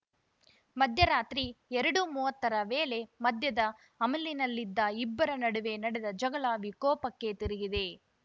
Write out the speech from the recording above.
ಮಧ್ಯರಾತ್ರಿ ಎರಡುಮೂವತ್ತರ ವೇಳೆ ಮದ್ಯದ ಅಮಲಿನಲ್ಲಿದ್ದ ಇಬ್ಬರ ನಡುವೆ ನಡೆದ ಜಗಳ ವಿಕೋಪಕ್ಕೆ ತಿರುಗಿದೆ